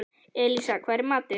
Elísa, hvað er í matinn?